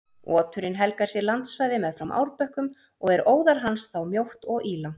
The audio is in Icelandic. Oturinn helgar sér landsvæði meðfram árbökkum og er óðal hans þá mjótt og ílangt.